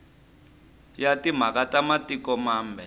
ya timhaka ta matiko mambe